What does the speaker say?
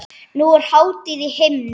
Nú er hátíð á himnum.